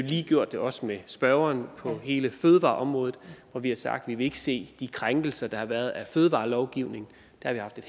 lige gjort det også med spørgerens på hele fødevareområdet hvor vi har sagt at vi ikke vil se de krænkelser der har været af fødevarelovgivningen